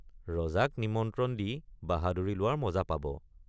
ৰজাক নিমন্ত্ৰণ দি বাহাদুৰি লোৱাৰ মজা পাব।